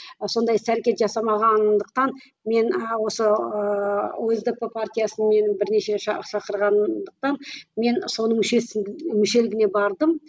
сондай іс әрекет жасамағандықтан мен осы осдп партиясына мені бірнеше шақырғандықтан мен соның мүшесі мүшелігіне бардым